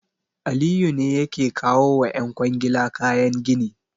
Aliyu ne yake kawo wa ƴan kwangila kayan gini.